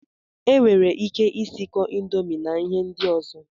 Enwere ike isikọ indomi na ihe ndị ọzọ